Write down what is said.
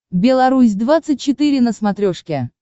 белорусь двадцать четыре на смотрешке